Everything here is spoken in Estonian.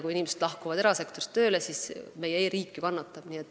Kui inimesed lähevad riigisektorist erasektorisse tööle, siis meie e-riik kannatab.